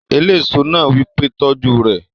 Eléso náà wí pé "tọ́jú rẹ̀!"